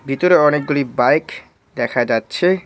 ভিতরে অনেকগুলি বাইক দেখা যাচ্ছে।